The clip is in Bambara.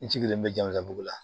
N sigilen bɛ jama dugu la